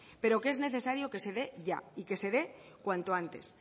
pero que es necesario que se dé ya y que se dé cuanto antes